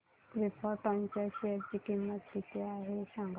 krypton च्या share ची किंमत किती आहे हे सांगा